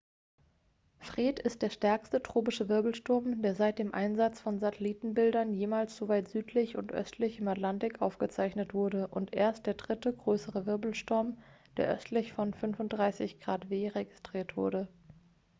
fred ist der stärkste tropische wirbelsturm der seit dem einsatz von satellitenbildern jemals so weit südlich und östlich im atlantik aufgezeichnet wurde und erst der dritte größere wirbelsturm der östlich von 35°w registriert wurde